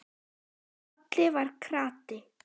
Haddi var krati.